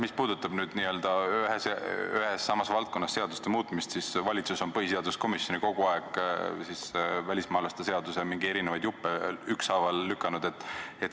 Mis puudutab nii-öelda ühes ja samas valdkonnas seaduste muutmist, siis valitsus on põhiseaduskomisjoni kogu aeg ükshaaval mingeid erinevaid välismaalaste seaduse juppe lükanud.